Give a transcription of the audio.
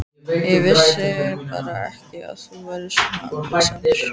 Ég vissi bara ekki að þú værir svona afbrýðisamur.